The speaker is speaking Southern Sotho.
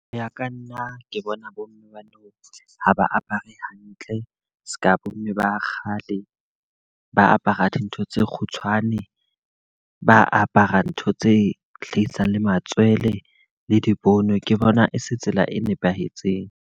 Ho ya ka nna, ke bona bo mme ba nou ha ba apare hantle, seka bo mme ba kgale. Ba apara dintho tse kgutshwane, ba apara ntho tse hlahisang le matswele, le dibono. Ke bona e se tsela e nepahetseng.